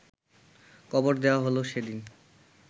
কবর দেওয়া হল সেদিন